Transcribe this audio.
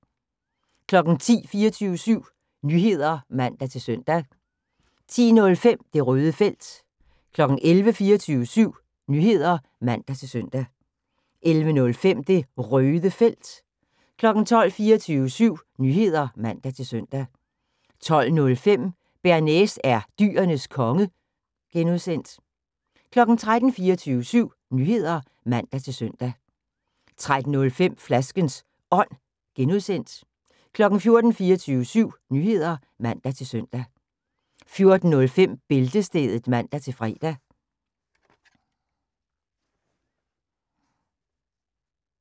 10:00: 24syv Nyheder (man-søn) 10:05: Det Røde Felt 11:00: 24syv Nyheder (man-søn) 11:05: Det Røde Felt 12:00: 24syv Nyheder (man-søn) 12:05: Bearnaise er Dyrenes Konge (G) 13:00: 24syv Nyheder (man-søn) 13:05: Flaskens Ånd (G) 14:00: 24syv Nyheder (man-søn) 14:05: Bæltestedet (man-fre)